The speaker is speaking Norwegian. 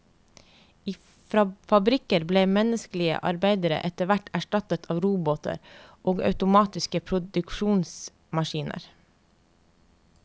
I fabrikker ble menneskelige arbeidere etter hvert erstattet av roboter og automatiske produksjonemaskiner.